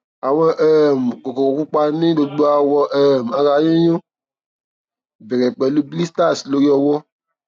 awọn um kokoro pupa ni gbogbo awọ um ara yiyun bẹ̀rẹ̀ pẹ̀lú blisters lori ọwọ́